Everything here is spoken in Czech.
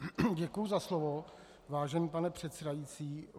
Děkuji za slovo, vážený pane předsedající.